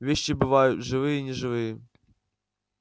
вещи бываю живые и неживые